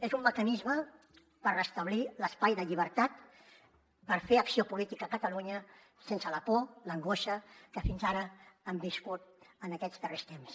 és un mecanisme per restablir l’espai de llibertat per fer acció política a catalunya sense la por l’angoixa que fins ara hem viscut en aquests darrers temps